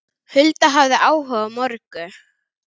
Hulda hafði áhuga á mörgu.